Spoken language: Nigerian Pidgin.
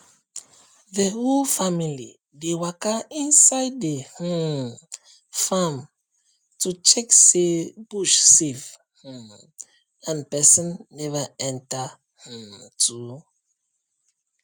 the whole family dey waka inside the um farm to check say bush safe um and person never enter um too